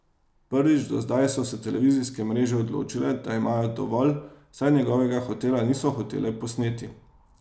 Prvič do zdaj so se televizijske mreže odločile, da imajo dovolj, saj njegovega hotela niso hotele posneti.